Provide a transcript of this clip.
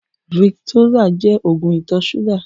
Viktósá jẹ́ ógùn itọ ṣúgà